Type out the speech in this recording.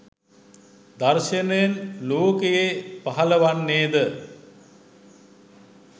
දර්ශනයෙන් ලෝකයේ පහලවන්නේ ද?